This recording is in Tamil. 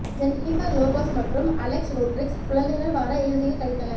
ஜெனிபர் லோபஸ் மற்றும் அலெக்ஸ் ரோட்ரிக்ஸ் குழந்தைகள் வார இறுதியில் கழித்தனர்